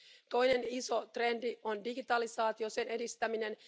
Toinen iso trendi on digitalisaatio ja sen edistäminen.